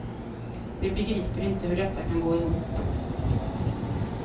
Vi begriper inte hur detta kan gå ihop.